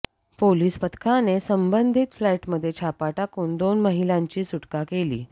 police पथकाने संबंधित फ्लॅटमध्ये छापा टाकून दोन महिलांची सुटका केली